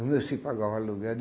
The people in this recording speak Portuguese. O meu se pagava o aluguel.